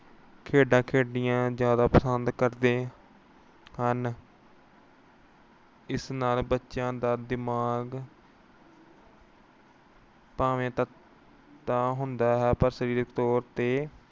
ਖੇਡਾਂ ਖੇਡਣੀਆਂ ਜਿਆਦਾ ਪਸੰਦ ਕਰਦੇ ਹਨ। ਇਸ ਨਾਲ ਬੱਚਿਆਂ ਦਾ ਦਿਮਾਗ ਤਾਂ ਹੁੰਦਾ ਹੈ ਪਰ ਸਰੀਰਕ ਤੌਰ ਤੇ